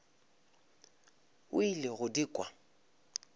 o ile go di kwa